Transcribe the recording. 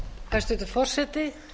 hæstvirtur forseti